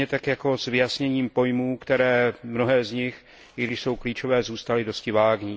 Stejně tak jako s vyjasněním pojmů, které mnohé z nich, i když jsou klíčové, zůstaly dosti vágní.